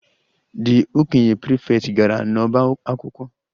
The okenye prefect gara n'ọbá akwụkwọ